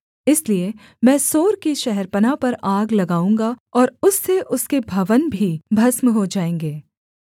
इसलिए मैं सोर की शहरपनाह पर आग लगाऊँगा और उससे उसके भवन भी भस्म हो जाएँगे